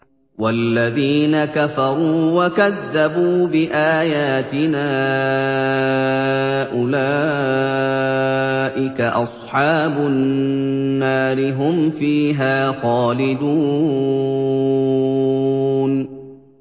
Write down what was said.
وَالَّذِينَ كَفَرُوا وَكَذَّبُوا بِآيَاتِنَا أُولَٰئِكَ أَصْحَابُ النَّارِ ۖ هُمْ فِيهَا خَالِدُونَ